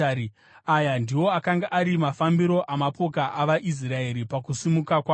Aya ndiwo akanga ari mafambiro amapoka avaIsraeri pakusimuka kwavo.